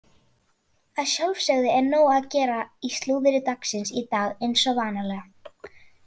Að sjálfsögðu er nóg að gera í slúðri dagsins í dag eins og vanalega.